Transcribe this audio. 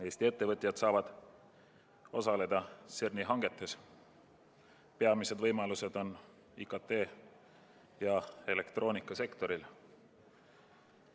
Eesti ettevõtjad saavad edaspidi osaleda CERN-i hangetes, peamised võimalused on IKT- ja elektroonikasektoril.